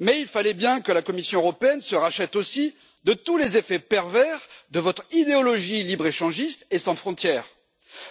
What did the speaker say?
Mais il fallait bien que la Commission européenne se rachète aussi de tous les effets pervers de votre idéologie libre échangiste et sans frontière, c'est à dire